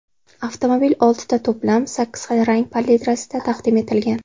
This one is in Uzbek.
Avtomobil oltita to‘plam, sakkiz xil rang palitrasida taqdim etilgan.